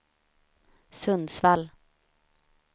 Sundsvall